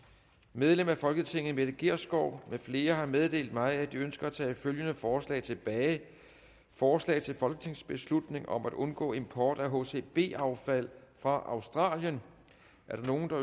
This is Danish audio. medlemmer af folketinget mette gjerskov med flere har meddelt mig at de ønsker at tage følgende forslag tilbage forslag til folketingsbeslutning om at undgå import af hcb affald fra australien